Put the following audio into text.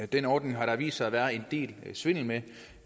den ordning har der vist sig at være en del svindel med